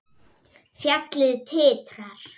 Fjallið titrar.